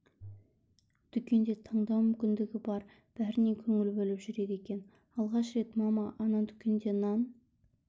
дүкенде таңдау мүмкіндігі бар бәріне көңіл бөліп жүреді екен алғаш рет мама ана дүкенде нан